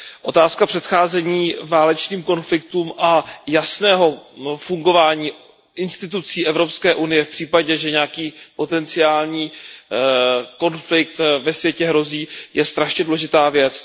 Otázka předcházení válečným konfliktům a jasného fungování institucí Evropské unie v případě, že nějaký potenciální konflikt ve světě hrozí, je strašně důležitá věc.